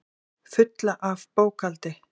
Fulla af bókhaldi.